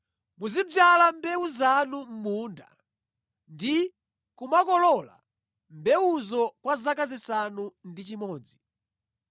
“Muzidzala mbewu zanu mʼmunda ndi kumakolola mbewuzo kwa zaka zisanu ndi chimodzi.